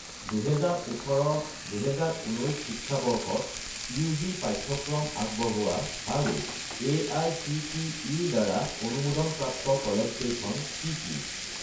2018 - 2019 শিক্ষাবৰ্ষত ইউ.জি. পাঠ্যক্ৰম আগবঢ়োৱা আৰু এআইচিটিই-ৰদ্বাৰা অনুমোদন প্ৰাপ্ত কলেজকেইখন কি কি?